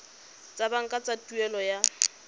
tsa banka tsa tuelo ya